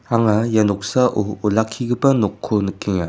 anga ia noksao olakkigipa nokko nikenga.